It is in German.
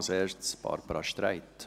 zuerst Barbara Streit.